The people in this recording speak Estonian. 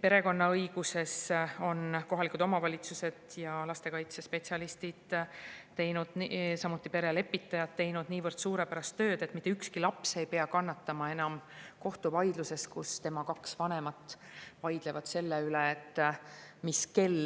Perekonnaõiguses on kohalikud omavalitsused ja lastekaitsespetsialistid, samuti perelepitajad teinud nii suurepärast tööd, et mitte ükski laps ei pea kannatama enam kohtuvaidluses, kus tema kaks vanemat vaidlevad selle üle, mis kell